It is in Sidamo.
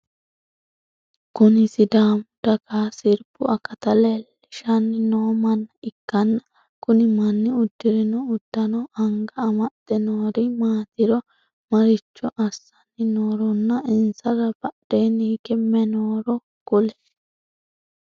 Kunni sidaamu dagaha sirbu akata leelishanni noo manna ikanna kunni manni udirinno udano, anaga amexe noori maatiro, maricho assanni nooronna insara badheenni hige mayi nooro kuli?